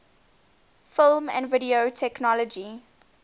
film and video technology